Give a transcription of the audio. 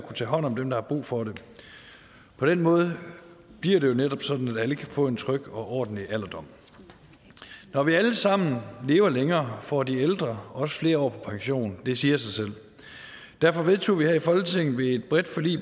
tage hånd om dem der har brug for det på den måde bliver det jo netop sådan at alle kan få en tryg og ordentlig alderdom når vi alle sammen lever længere får de ældre også flere år på pension det siger sig selv derfor vedtog vi her i folketinget ved et bredt forlig